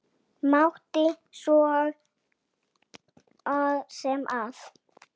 Mátti svo sem vita það.